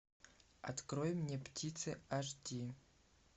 открой мне птицы аш ди